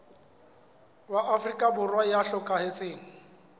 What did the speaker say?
wa afrika borwa ya hlokahetseng